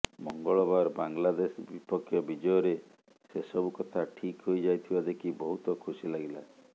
ମଙ୍ଗଳବାର ବାଂଲାଦେଶ ବିପକ୍ଷ ବିଜୟରେ ସେସବୁ କଥା ଠିକ୍ ହୋଇ ଯାଇଥିବା ଦେଖି ବହୁତ ଖୁସି ଲାଗିଲା